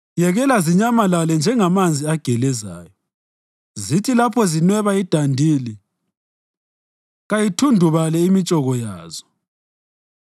Yekela zinyamalale njengamanzi agelezayo; zithi lapho zinweba idandili, kayithundubale imitshoko yazo.